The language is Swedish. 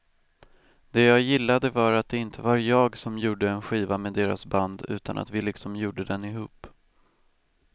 Det jag gillade var att det inte var jag som gjorde en skiva med deras band utan att vi liksom gjorde den ihop.